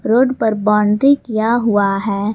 Road पर boundary किया हुआ है।